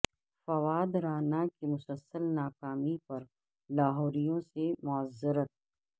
فواد رانا کی مسلسل ناکامی پر لاہوریوں سے معذرت